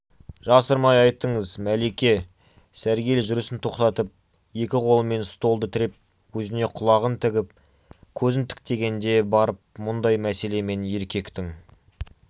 жасырмай айтыңыз мәлике сәргел жүрісін тоқтатып екі қолымен столды тіреп өзіне құлағын тігіп көзін тіктегенде барып мұндай мәселемен еркектің